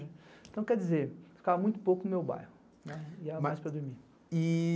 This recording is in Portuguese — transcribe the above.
Então, quer dizer, ficava muito pouco no meu bairro, ia mais para dormir.